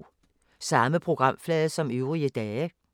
Samme programflade som øvrige dage